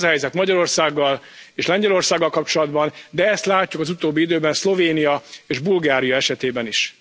Ez a helyzet Magyarországgal és Lengyelországgal kapcsolatban, de ezt látjuk az utóbbi időben Szlovénia és Bulgária esetében is.